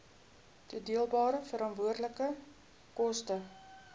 toedeelbare veranderlike koste